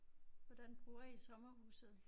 Hvordan bruger I sommerhuset?